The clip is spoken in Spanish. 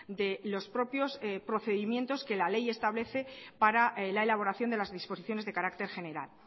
de los propios procedimientos que la ley establece para la elaboración de las disposiciones de carácter general